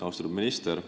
Austatud minister!